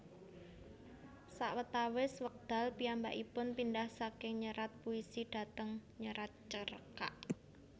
Sawetawis wekdal piyambakipun pindhah saking nyerat puisi dhateng nyerat cerkak